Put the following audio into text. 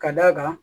Ka d'a kan